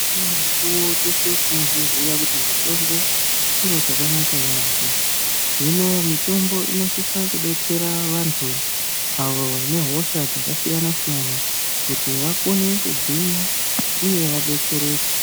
Imweni mikuwo teshe tinozviziya kuti, mitombo chiro chakanaka yaampho. Hino mitombo inosisa kudetsera vantu, avo vane hosha dzakasiyana-siyana, kuti vakone kugwinya, uye vadetsereke.